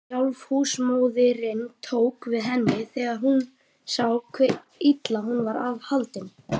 Sjálf húsmóðirin tók við henni þegar hún sá hve illa hún var haldin.